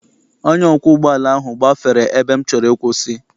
Onye ọkwọ ụgbọala ahụ gbafere ebe m chọrọ ịkwụsị.